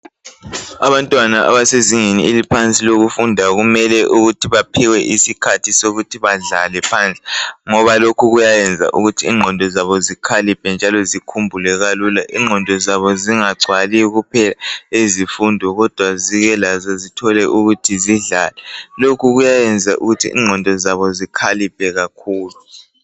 Abantwana abesezingeni eliphansi lokufunda kumele baphiwe isikhathi sokuthi badlale phandle ngoba lokhu kuyenza ingqondo zabo zikhaliphe njalo zikhumbule kalula zingagcwali kuphela izifundo.